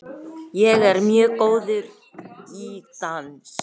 Sigþrúður, hvaða dagur er í dag?